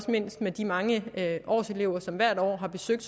mindst af de mange årselever som hvert år har besøgt